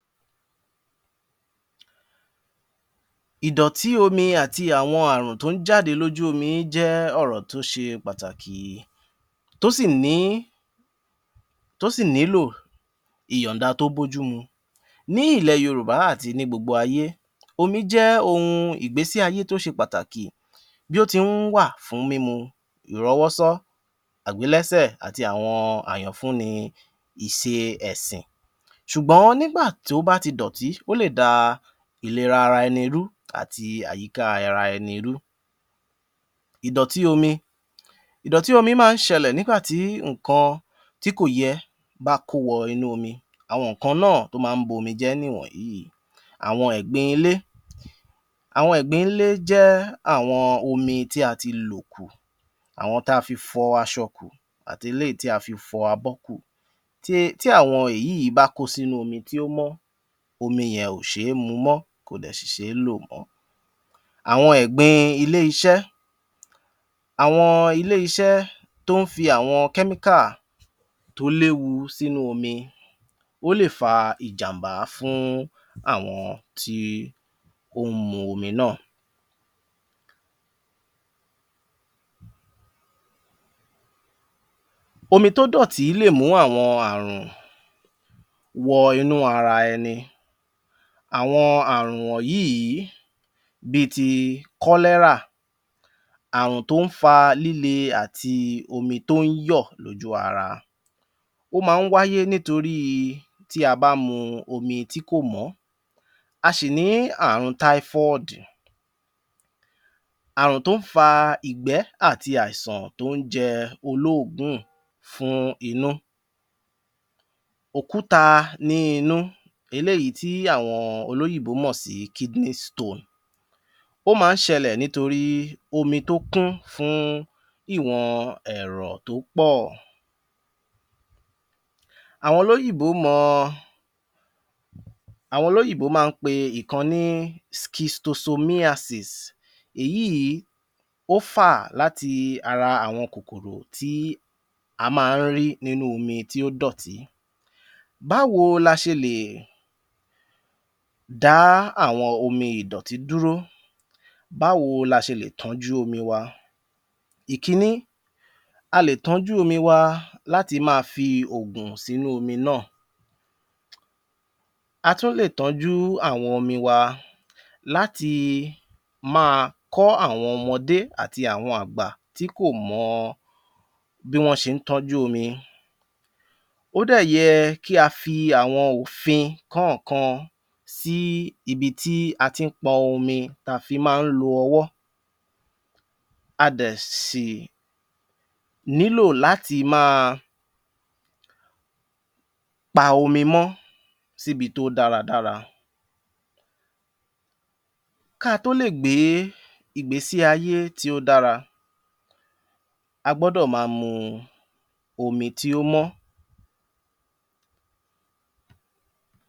ìdọ̀tí omi àti àwọn omi tó ń jáde lójú omi jẹ́ ọ̀rọ̀ tó ṣe pàtàkì tó sì ní tó sì nílò ìyànda tó bójú mu. Ní ilẹ̀ yorùbá àti ní gbogbo ayé, omi jẹ́ oun ìgbésí ayé tó ṣe pàtàkì bí ó ti ń wà fún mímu ìrọ́wọ́sọ́, àgbélẹ́sẹ̀ àti àwọn àyànfúnni ise ẹ̀sìn. ṣùgbọ́n nígbà tí ó bá ti dọ̀ti ó lè da ìlera ara ẹni rú àti àyíká ara ẹni rú. ìdọ̀tí omi, ìdọ̀tí omi máa ń ṣẹlẹ̀ nígbà tí nǹkan tí kò yẹ bá kó wọ inú omi alwọn nǹkan náà tó máa ń bomi jẹ́ nìwọ̀nyìí. Àwọn ẹ̀gbin ilé, àwọn ẹ̀gbín nlé jẹ́ àwọn omi tí a ti lò kù, àwọn ta fi fọ aṣọ kù àti eléyìí tí a fi fọ abọ́ kù tí tí àwọn èyíì bá kó sínú omi tí ó mọ́ omi yẹn ò ṣé é mu mọ́ kò dẹ̀ ṣì ṣé é lò mọ́. Àwọn ẹ̀gbin ilé-iṣẹ́, àwọn ilé-iṣẹ́ tó fi àwọn chemical tó léwu sínú omi ó lè fa ìjàm̀bá fún àwọn tí ó ń mu omi náà. Omi tó dọ̀tí lè mú àwọn ààrùn wọ inú ara ẹni, àwọn ààrùn wọ̀nyìí bi ti cholera ààrùn tó ń fa líle àti omi tó ń yọ̀ lójú ara. Ó máa ń wáyé nítorí tí a bá mu omi tí kò mọ́. A ṣì ní ààrùn typhoid ààrùn tó ń fa ìgbẹ́ àti àìsàn tó ń jẹ olóògùn fún inú okúta ní inú eléyìí tí àwọn olóyìnbó mọ̀ sí kidney stone ó máa ń ṣẹlẹ̀ nítorí omi tó kún fún ìwọ̀n ẹ̀rọ̀ tó pọ̀ àwọn olóyìnbó mọ àwọn olóyìnbó máa ń pe ìkan ní scistosomiasis èyíì ó fà láti ara àwọn kòkòrò tí a máa ń rí nínú omi tí ó dọ̀tí. Báwo la ṣe lè dá àwọn omi ìdọ̀tí dúró?, báwo la ṣe lè tọ́jú omi wa? Ìkiní, a lè tọ́jú omi wa láti máa fi ògùn sínú omi náà. A tún lè tọ́jú àwọn omi wa láti máa kọ́ àwọn ọmọdé àti àwọn àgbà tí kò mọ bí wọ́n ṣe ń tọ́jú omi. Ó dẹ̀ yẹ kí a fi àwọn òfin kọ́ọ̀kan sí ibi tí a ti ń pọn omi ta fi máa ń lo ọwọ́ a dẹ̀ sì nílò láti máa pa omi mọ́ síbi tó dáradára ká a tó lè gbé ìgbésí ayé tí ó dára a gbọ́dọ̀ máa mu omi tí ó mọ́.